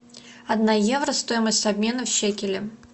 одна евро стоимость обмена в шекели